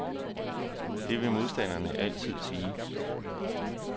Det vil modstanderne altid sige.